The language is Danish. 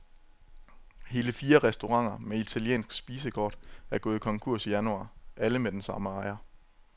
Hele fire restauranter med italiensk spisekort er gået konkurs i januar, alle med den samme ejer.